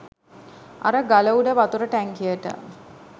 අර ගල උඩ වතුර ටැංකියට